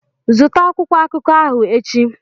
Zụta akwụkwọ akụkọ ahụ echi!